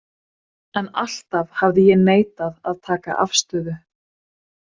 En alltaf hafði ég neitað að taka afstöðu.